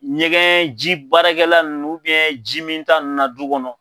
Ɲɛgɛn ji baarakɛla nunnu ji min ta nunnu na du kɔnɔ.